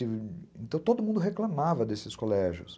Então todo mundo reclamava desses colégios.